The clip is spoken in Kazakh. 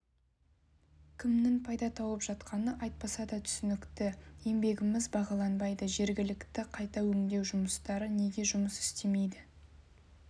кімнің пайда тауып жатқаны айтпаса да түсінікті еңбегіміз бағаланбайды жергілікті қайта өңдеу орындары неге жұмыс істемейді